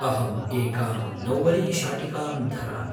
अहम् एकां नौवरीशाटिकां धरामि।